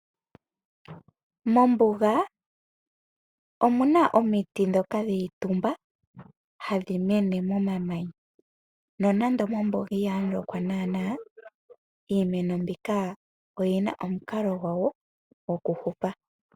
Mombuga omuna omiti ndhoka dhi itumba hadhi mene mo mamanya. Nonando mombuga ihamu lokwa naana , iimeno mbika oyina omukalo gwawo gwoku hupa.